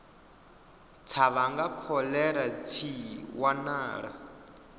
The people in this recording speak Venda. tsha vhanga kholera tshi wanala